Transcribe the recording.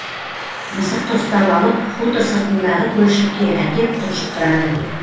мысықты ұстап алып хутор сыртындағы көлшікке әкеп тұншықтырады